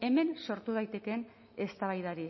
hemen sortu daitekeen eztabaidari